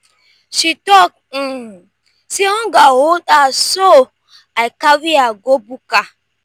she tok um sey hunger hold her so i carry her go buka.